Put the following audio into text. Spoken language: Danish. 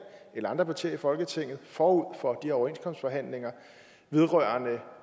eller andre partier i folketinget forud for overenskomstforhandlingerne vedrørende